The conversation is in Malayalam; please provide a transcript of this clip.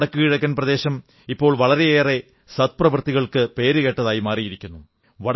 നമ്മുടെ വടക്കു കിഴക്കൻ പ്രദേശം ഇപ്പോൾ വളരെയേറെ സദ്പ്രവൃത്തികൾക്ക് പേരുകേട്ടതായിരിക്കുന്നു